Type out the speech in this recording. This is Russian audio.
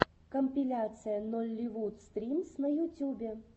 компиляция нолливуд стримс на ютюбе